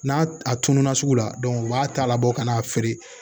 N'a a tununa sugu la u b'a ta ka bɔ ka n'a feere